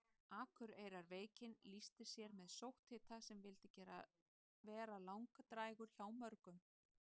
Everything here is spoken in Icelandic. Akureyrarveikin lýsti sér með sótthita sem vildi vera langdrægur hjá mörgum.